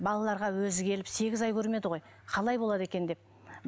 балаларға өзі келіп сегіз ай көрмеді ғой қалай болады екен деп